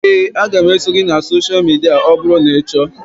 Éè, a ga m eso gị na sosha midia ọ bụrụ na ị chọọ